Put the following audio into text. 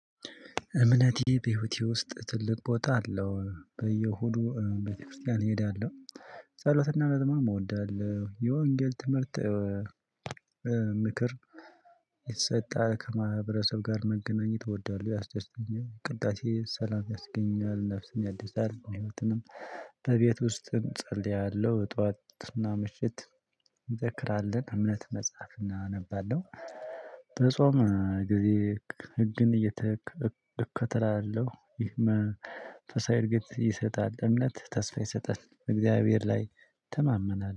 እምነቴ በህይወቴ ውስጥ ትልቅ ቦታ አለው በየሁዱ ቤተክርስቲያን እሄዳለሁ። ጸሎትና መዝሙር እወዳለሁ የወንጌል ትምህርት። ምክር የተሰጣ ከማህበረሰብ ጋር መገናኘት እወዳለሁ ያስደስተኛል። ቅዳሴ ሰላም ያስገኛል ነፍስን ያድሳል። የምትንም በቤት ውስጥ እጸልያለሁ ጠዋትና ምሽት። እንደዘራለን እምነት መጽሐፍ እናነባለው። በጾም ጊዜ ህግን እየተከ እከተላለሁ። ይህም ተሳይ እርግጥ ይሰጣል። እምነት ተስፋ ይሰጣል እግዚአብሔር ላይ እተማመናለሁ